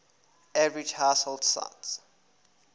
average household size